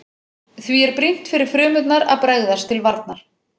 Því er brýnt fyrir frumurnar að bregðast til varnar.